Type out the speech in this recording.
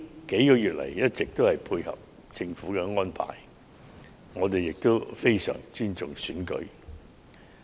數月來，自由黨一直配合政府的安排，我們亦非常尊重選舉。